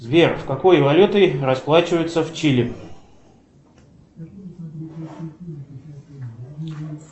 сбер какой валютой расплачиваются в чили